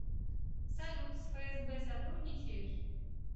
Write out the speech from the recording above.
салют с фсб сотрудничаешь